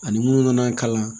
Ani munnu nana an kalan